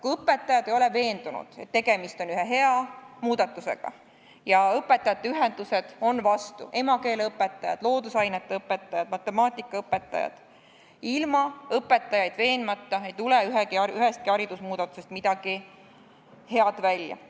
Kui õpetajad ei ole veendunud, et tegemist on ühe hea muudatusega ja õpetajate ühendused on vastu – emakeeleõpetajad, loodusainete õpetajad, matemaatikaõpetajad –, siis ilma õpetajaid veenmata ei tule ühestki haridusmuudatusest midagi head välja.